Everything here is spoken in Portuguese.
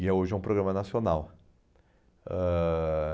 E é hoje é um programa nacional. Ãh